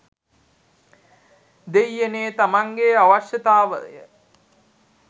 දෙයියනේ තමන්ගෙ අවශ්‍යතාවය